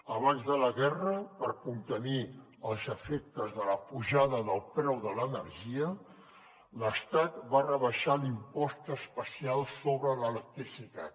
abans de la guerra per contenir els efectes de la pujada del preu de l’energia l’estat va rebaixar l’impost especial sobre l’electricitat